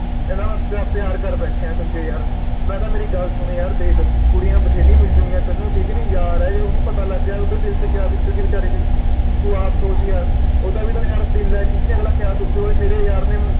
ਕਹਿੰਦਾ ਯਾਰ ਪਿਆ ਪਿਆਰ ਕਰ ਬੈਠਿਆਂ ਸੰਜੇ ਯਾਰ ਮੈਂ ਕਿਹਾ ਮੇਰੀ ਗੱਲ ਸੁਨ ਦੇਖ ਕੁੜੀਆਂ ਬਥੇਰੀਆਂ ਮਿਲ ਜੂੰਗੀਆਂ ਤੈਨੂੰ ਠੀਕ ਨਹੀਂ ਗੀ ਯਾਰ ਹੈ ਜੇ ਓਹਨੂੰ ਪਤਾ ਲੱਗ ਗਿਆ ਓਹਦੇ ਦਿਲ ਤੇ ਕਯਾ ਬੀਤੂਗੀ ਵੇਚਾਰੇ ਦੇ ਤੂੰ ਆਪ ਸੋਚ ਯਾਰ ਓਹਦਾ ਵੀ ਤਾ ਯਾਰ ਦਿਲ ਹੈ ਠੀਕ ਹੈ ਅਗਲਾ ਕਯਾ ਸੋਚੂਗਾ ਵੀ ਮੇਰੇ ਯਾਰ ਨੇ